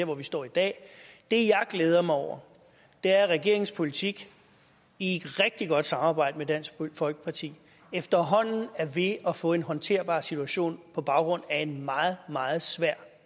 hvor vi står i dag det jeg glæder mig over er at regeringens politik i et rigtig godt samarbejde med dansk folkeparti efterhånden er ved at få en håndterbar situation på baggrund af en meget meget svær